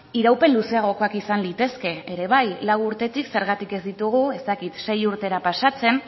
iraupen luzeagokoak izan litezke ere bai lau urtetik zergatik ez ditugu ez dakit sei urtera pasatzen